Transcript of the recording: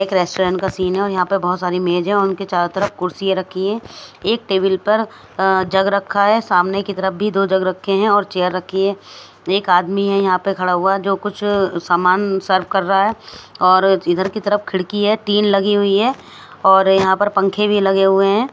एक रेस्टोरेंट का सीन है और यहां पर बहुत सारी मेज है और उनके चारों तरफ कुर्सियां रखी है एक टेबल पर जग रखा है सामने की तरफ भी दो जग रखे हैं और चेयर रखी है एक आदमी है यहां पे खड़ा हुआ जो कुछ सामान सर्व कर रहा है और इधर की तरफ खिड़की है टीन लगी हुई है और यहां पर पंखे भी लगे हुए हैं।